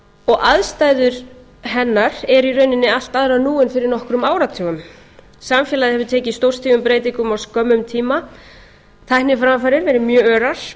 og aðstæður hennar eru í rauninni allt aðrar nú en fyrir nokkrum áratugum samfélagið hefur tekið stórstígum breytingum á skömmum tímatækniframfarir verið mjög örar